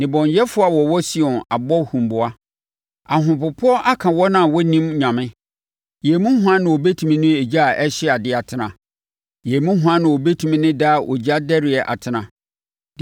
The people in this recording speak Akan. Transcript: Nnebɔneyɛfoɔ a wɔwɔ Sion abɔ huboa; ahopopoɔ aka wɔn a wɔnnim Onyame: “Yɛn mu hwan na ɔbɛtumi ne ogya a ɛhye adeɛ atena? Yɛn mu hwan na ɔbɛtumi ne daa ogya dɛreɛ atena?”